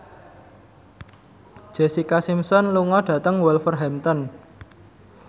Jessica Simpson lunga dhateng Wolverhampton